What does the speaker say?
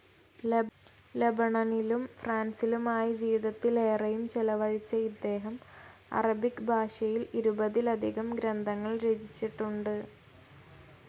ലെബണനിലും, ഫ്രാൻസിലുമായി ജീവിതത്തിലേറെയും ചെലവഴിച്ച ഇദ്ദേഹം അറബിക് ഭാഷയിൽ ഇരുപതിലധികം ഗ്രന്ഥങ്ങൾ രചിച്ചിട്ടുണ്ട്.